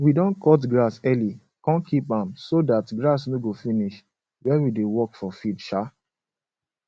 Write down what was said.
we don cut grass early kon keep am so dat grass no go finish when we dey work for field um